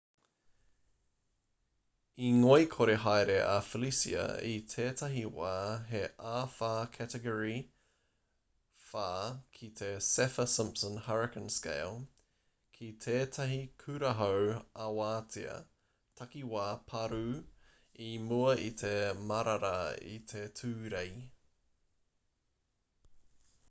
i ngoikore haere a felicia i tētahi wā he āwhā category 4 ki te saffir-simpson hurricane scale ki tētahi kurahau-awatea takiwā pārū i mua i te marara i te tūrei